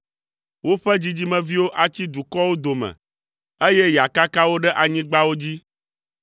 woƒe dzidzimeviwo atsi dukɔwo dome, eye yeakaka wo ɖe anyigbawo dzi.